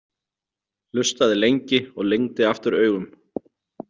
Hlustaði lengi og lygndi aftur augum.